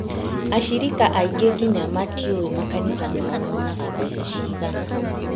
Acirika aingĩ nginya matiũĩ makanitha mao monaga mbeca cigana